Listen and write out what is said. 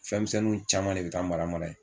Fɛnmisɛnnin caman de bɛ taa mara mara yen